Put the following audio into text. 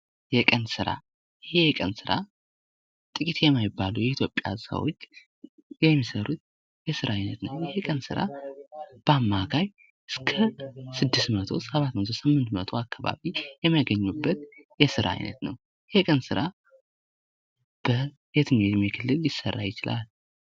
የቀን ስራ:- ይህ የቀን ስራ ጥቂት የማይባሉ የኢትዮጵያ ሰዎች የሚሰሩት የስራ አይነት ነዉ። ይህ ስራ በአማካይ እስከ 6 መቶ፣ 7 መቶ፣ 8 መቶ አካባቢ የሚያገኙበት የስራ አይነት ነዉ። ይህ የቀን ስራ በየትኛዉ የእድሜ ክልል ሊሰራ ይችላል?